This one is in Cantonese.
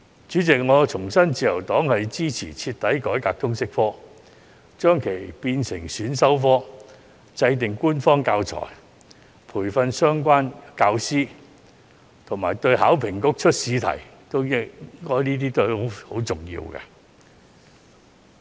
主席，我重申自由黨支持徹底改革通識科，將其列為選修科，制訂官方教材及培訓相關教師，這些對於香港考試及評核局擬出試題均十分重要。